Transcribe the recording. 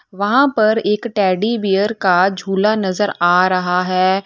वहां पर एक टेडी बियर का झूला नजर आ रहा है।